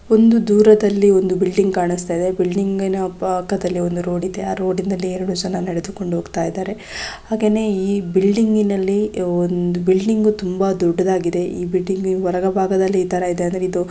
ಒಂದು ದೂರದಲ್ಲಿ ಒಂದು ಬಿಲ್ಡಿಂಗ್ ಕಾಣಿಸ್ತಾ ಇದೆ ಬಿಲ್ಡಿಂಗ್ ನ ಪಕ್ಕದಲ್ಲಿ ಒಂದು ರೋಡ ಇದೆ ಆ ರೋಡಿನಲ್ಲಿ ಎರಡು ಜನ ನಡೆದುಕೊಂಡು ಹೋಗುತ್ತಿದ್ದಾರೆ ಹಾಗೇನೇ ಈ ಬಿಲ್ಡಿಂಗ್ನಲ್ಲಿ ಒಂದು ಬಿಲ್ಡಿಂಗ ತುಂಬಾ ದೊಡ್ಡದಾಗಿದೆ ಇ ಬಿಲ್ಡಿಂಗ ಹೊರಭಾಗದಲ್ಲಿ --